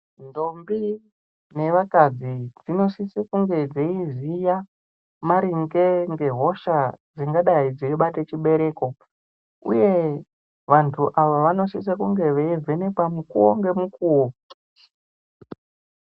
Ndombi nevakadzi dzinosise kunge dzeiziya maringe ngehosha dzingadai dzeibata chibereko uye vanthu ava vanosise kunge veivhenekwa mukuwo ngemukuwo.